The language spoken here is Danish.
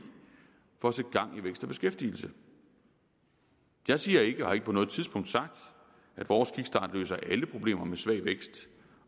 for at sætte gang i vækst og beskæftigelse jeg siger ikke og har ikke på noget tidspunkt sagt at vores kickstart løser alle problemer med svag vækst